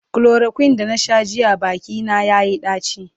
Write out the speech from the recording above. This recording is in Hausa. chloroquine da na Sha jiya Baki na yayi daci